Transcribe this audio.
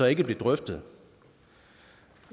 ikke blev drøftet